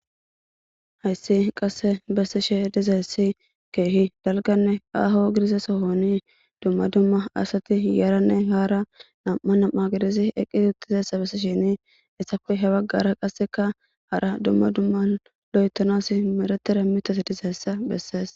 hayssi qasse bessishe dizeessi keehi dalganne aaho gidze sohoni dumma dumma asati yaranne haara nam7a nam7a gididi eqqi huttizeessa bessishini essako he baggara qasseka hara dumma dumma lo7etanas meretera mitas dizeessa bessees